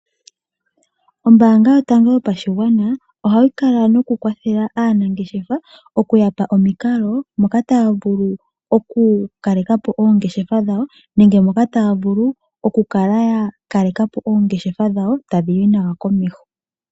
Ombaanga yotango yopashigwana ohayi kwathele aanangeshefa okuya pa omikalo nkene yena okukala ya kaleka po oongeshefa dhawo tadhi yi nawa komeho.